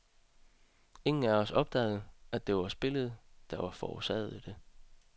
Ingen af os opdagede, at det var spillet, der forårsagede det.